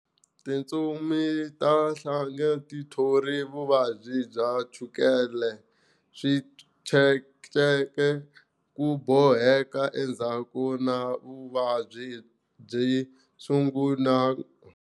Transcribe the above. Timitsu ta nhlanga ti thori vuvabyi bya chukela, switshetsheke, ku boheka endhaku na vuvabyi byi sungula.